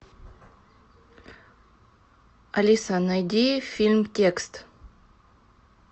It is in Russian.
алиса найди фильм текст